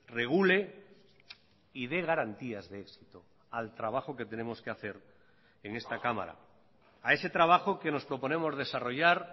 regule y dé garantías de éxito al trabajo que tenemos que hacer en esta cámara a ese trabajo que nos proponemos desarrollar